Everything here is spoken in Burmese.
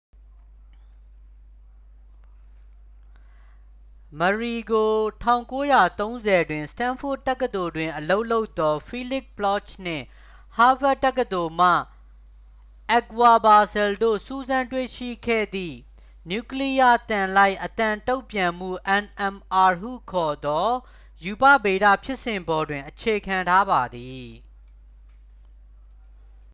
မရီ ကို ၁၉၃၀s တွင် စတန်းဖို့ဒ်တက္ကသိုလ်တွင်အလုပ်လုပ်သော ဖီးလိခ်ဘလော့ချ်နှင့် ဟားဗတ်တက္ကသိုလ်မှ အက်ခ်ဝါ့ပါစဲလ် တို့ စူးစမ်းတွေ့ရှိခဲ့သည့် နျူကလီယားသံလိုက် အသံတုံ့ပြန်မှု nmr ဟုခေါ်သော ရူပဗေဒဖြစ်စဉ်ပေါ်တွင် အခြေခံထားပါသည်။